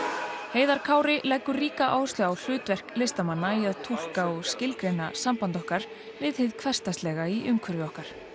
heiðar Kári leggur ríka áherslu á hlutverk listamanna í að túlka og skilgreina samband okkar við hið hversdagslega í umhverfi okkar